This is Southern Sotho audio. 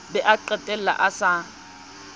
be a qetelle a sa